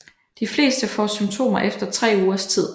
De fleste får symptomer efter tre ugers tid